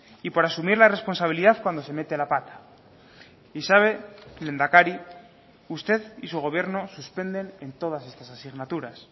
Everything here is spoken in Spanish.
y por asumir la responsabilidad cuando se mete la pata y sabe lehendakari usted y su gobierno suspenden en todas estas asignaturas